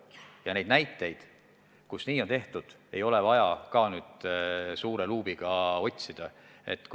Ja neid näiteid, kus nii on tehtud, ei ole küll vaja suure luubiga otsida.